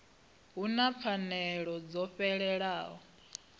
hu na pfanelo dzo fhelelaho